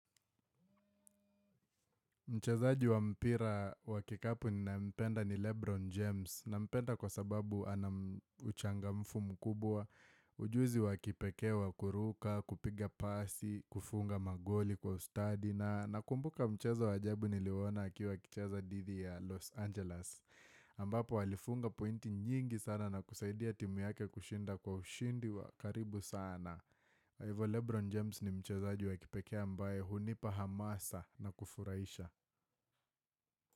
Mchezaji wa mpira wa kikapu ni naye mpenda ni Lebron James. Nampenda kwa sababu anauchangamfu mkubwa ujuzi wa kipekee wa kuruka, kupiga pasi, kufunga magoli kwa ustadi na nakumbuka mchezwa wajabu niliwuona akiwa akichaza thidi ya Los Angeles. Ambapo alifunga pointi nyingi sana na kusaidia timu yake kushinda kwa ushindi wa karibu sana Hivo Lebron James ni mchazaji wa kipekea mbae hunipa hamasa na kufuraisha.